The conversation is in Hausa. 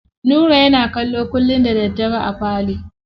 Nura yana kallo kullum da daddare a falo.